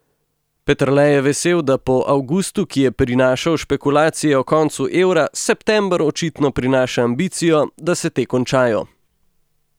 Peterle je vesel, da po avgustu, ki je prinašal špekulacije o koncu evra, september očitno prinaša ambicijo, da se te končajo.